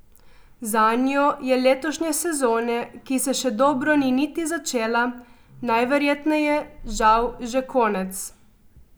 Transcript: Zanjo je letošnje sezone, ki se še dobro ni niti začela, najverjetneje žal že konec.